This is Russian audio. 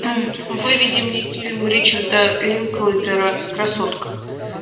выведи мне фильм ричарда линклейтера красотка